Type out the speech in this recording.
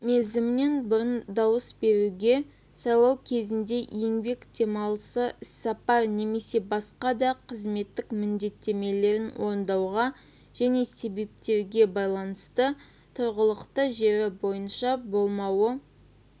мерзімінен бұрын дауыс беруге сайлау кезінде еңбек демалысы іссапар немесе басқа да қызметтік міндеттемелерін орындауға және себептергебайланысты тұрғылықты жері бойынша болмауы